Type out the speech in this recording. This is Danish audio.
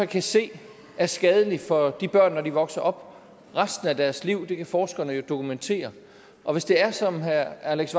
kan se er skadelig for de børn når de vokser op og resten af deres liv det kan forskerne jo dokumentere og hvis det er som herre alex